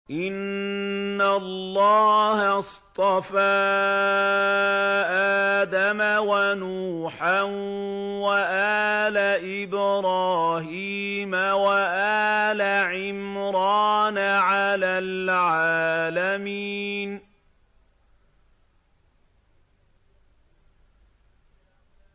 ۞ إِنَّ اللَّهَ اصْطَفَىٰ آدَمَ وَنُوحًا وَآلَ إِبْرَاهِيمَ وَآلَ عِمْرَانَ عَلَى الْعَالَمِينَ